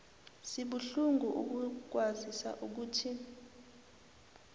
sibuhlungu ukukwazisa ukuthi